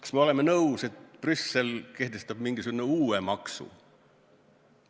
Kas me oleme nõus, et Brüssel kehtestab mingisuguse uue maksu?